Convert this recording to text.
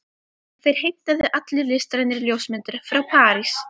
Þeir heimtuðu allir listrænar ljósmyndir frá París.